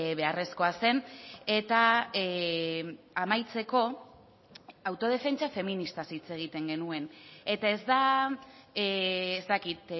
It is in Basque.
beharrezkoa zen eta amaitzeko autodefentsa feministaz hitz egiten genuen eta ez da ez dakit